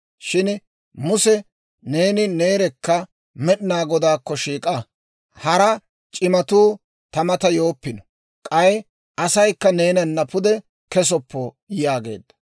Shin Muse, neeni neerekka Med'inaa Godaakko shiik'a; hara c'imatuu ta mata yooppino. K'ay asaykka neenana pude kesoppo» yaageedda.